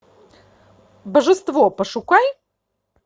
божество пошукай